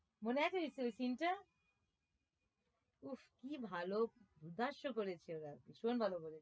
মনে আছে scene টা? উফ কি ভালো ভীষণ ভালো করেছে